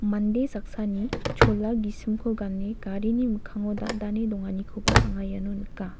mande saksani chola gisimko gane garini mikkango dandane donganikoba anga iano nika.